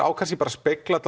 á kannski að spegla